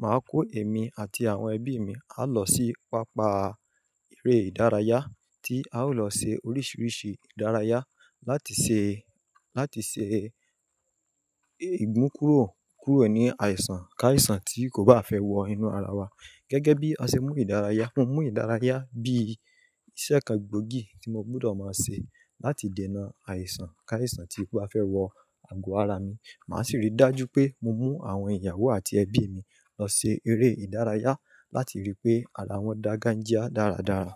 màá kó èmi àti àwọn ẹbí mi, á lọ sí pápá eré ìdárayá tí a ó lọ ṣe oríṣiríṣi ìdárayá láti ṣe, láti ṣe ìmùkúro kúrò ní àìsàn káìsàn tí kò bá fẹ́ wọ inú ara wa. Gẹ́gẹ́ bí a ṣe mú ìdárayá, mo mú ìdárayá bí i iṣẹ́ kan gbòógì tí mo gbọdọ̀ máa ṣe láti dènà àìsàn káìsàn tí kò bá fẹ́ wọ ago ara mi. Màá sì rí dájú pé mo mú àwọn ìyàwó àti ẹbí mi lọ ṣe eré ìdárayá láti rí pé ara wọn dàgà jịa dáradára.